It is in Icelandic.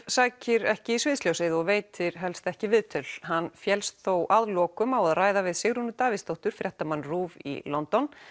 sækir ekki í sviðsljósið og veitir helst ekki viðtöl hann féllst þó að lokum á að ræða við Sigrúnu Davíðsdóttur fréttamann RÚV í London